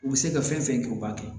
U bɛ se ka fɛn fɛn kɛ u b'a kɛ